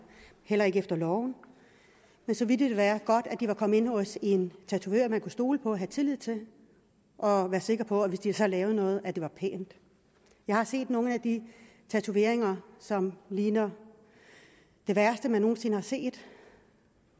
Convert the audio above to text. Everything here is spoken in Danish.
heller ikke efter loven men så ville det da være godt at de var kommet ind hos en tatovør man kunne stole på og havde tillid til og være sikker på at hvis de så lavede noget så var det pænt jeg har set nogle af de tatoveringer som ligner det værste man nogen sinde har set